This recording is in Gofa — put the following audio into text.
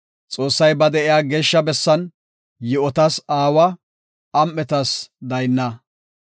Xoossay ba de7iya geeshsha bessan, yi7otas aawa; am7etas daynna.